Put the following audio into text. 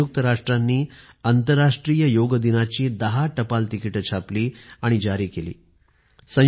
संयुक्त राष्ट्रांनी आंतरराष्ट्रीय योग्य दिवसा निमित्त १० पोस्टल सेवा स्टॅम्प्स काढलेत